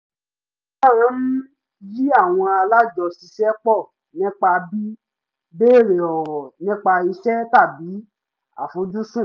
mo máa ń yí àwọn alájọṣiṣẹ́pọ̀ nípa bí béèrè ọ̀rọ̀ nípa iṣẹ́ tàbí àfojúsùn